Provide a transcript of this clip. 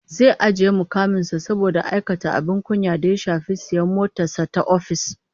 Zai ajiye mukamin sa saboda aikata abin kunya da ya shafi sayan motar sa ta ofis